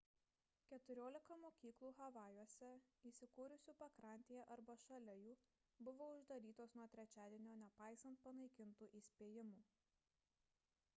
keturiolika mokyklų havajuose įsikūrusių pakrantėje arba šalia jų buvo uždarytos nuo trečiadienio nepaisant panaikintų įspėjimų